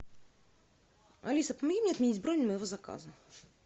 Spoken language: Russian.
алиса помоги мне отменить бронь моего заказа